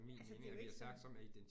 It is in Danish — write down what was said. Altså det er jo ikke sådan